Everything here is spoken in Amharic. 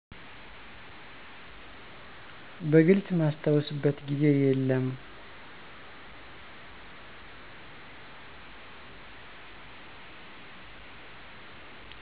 በግልፅ ማስተውስበት ግዜ የለም።